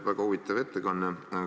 Väga huvitav ettekanne.